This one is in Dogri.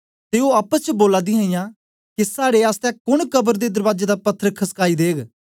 ते ओ आपस च बोला दीहां के साड़े आसतै कोन कब्र दे दरबाजे दा पत्थर खसकाई देग